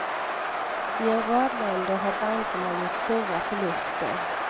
I en rad länder har bankerna gjort stora förluster.